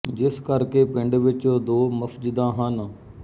ਜਿਸ ਕਰ ਕੇ ਪਿੰਡ ਵਿੱਚ ਦੋ ਮਸਜਿਦਾਂ ਹਨ